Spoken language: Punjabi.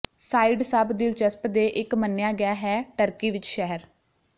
ਸਾਈਡ ਸਭ ਦਿਲਚਸਪ ਦੇ ਇੱਕ ਮੰਨਿਆ ਗਿਆ ਹੈ ਟਰਕੀ ਵਿੱਚ ਸ਼ਹਿਰ